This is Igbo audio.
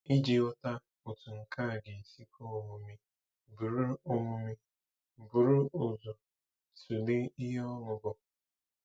Iji ghọta otú nke a ga-esi kwe omume, buru omume, buru ụzọ tụlee ihe ọṅụ bụ.